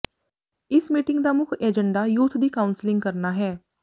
ਇਸ ਮੀਟਿੰਗ ਦਾ ਮੁੱਖ ਏਜੰਡਾ ਯੂਥ ਦੀ ਕਾਊਂਸਲਿੰਗ ਕਰਨਾ ਹੈ